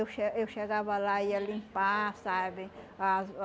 Eu che eu chegava lá ia limpar, sabe, as ah